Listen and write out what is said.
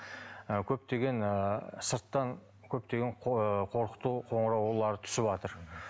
ы көптеген ы сырттан көптеген ы қорқыту қоңыраулары түсіватыр